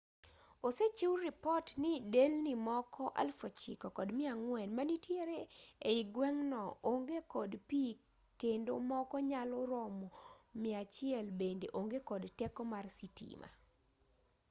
osechiw ripot ni delni moko 9400 manitiere ei gweng'no onge kod pi kendo moko manyalo romo 100 bende onge kod teko mar sitima